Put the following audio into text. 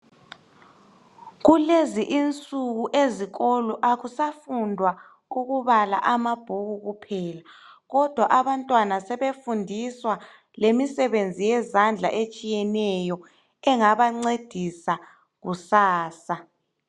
Kulezi insuku ezikolo kakusafundwa ukubala amabhuku kuphela. Kodwa abantwana sebefundiswa imisebenzi yezandla etshiyeneyo. Engabancedisa kusasa.